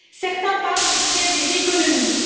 Certains parlent de faire des économies.